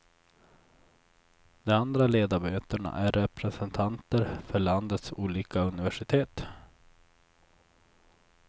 De andra ledamöterna är representanter för landets olika universitet.